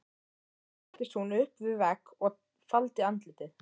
Þar settist hún upp við vegg og faldi andlitið.